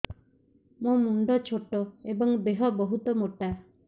ମୋ ମୁଣ୍ଡ ଛୋଟ ଏଵଂ ଦେହ ବହୁତ ମୋଟା